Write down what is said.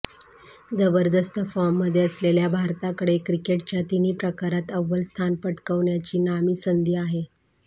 जबरदस्त फॉर्ममध्ये असलेल्या भारताकडे क्रिकेटच्या तिन्ही प्रकारात अव्वल स्थान पटकावण्याची नामी संधी आहे